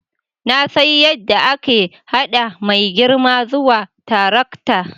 Na san yadda ake haɗa mai girbi zuwa tarakta